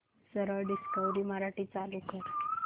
सरळ डिस्कवरी मराठी चालू कर